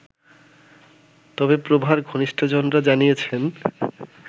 তবে প্রভার ঘনিষ্টজনরা জানিয়েছেন